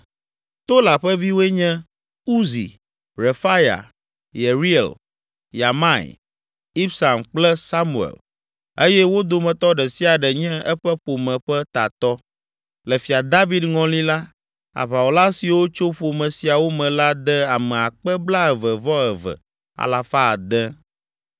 Tola ƒe viwoe nye: Uzi, Refaya, Yeriel, Yahmai, Ibsam kple Samuel eye wo dometɔ ɖe sia ɖe nye eƒe ƒome ƒe tatɔ. Le Fia David ŋɔli la, aʋawɔla siwo tso ƒome siawo me la de ame akpe blaeve-vɔ-eve, alafa ade (22,600).